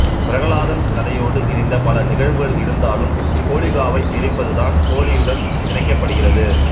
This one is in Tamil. பிரகலாதன் கதையோடு இணைந்த பல நிகழ்வுகள் இருந்தாலும் ஹோலிகாவை எரிப்பதுதான் ஹோலியுடன் இணைக்கப்படுகிறது